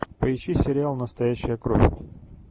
поищи сериал настоящая кровь